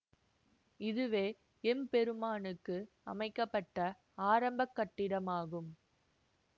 இதுவே எம்பெருமானுக்கு அமைக்க பட்ட ஆரம்ப கட்டிடமாகும்